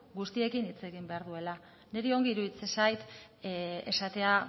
guztiekin hitz egin behar duela niri ongi iruditzen zait esatea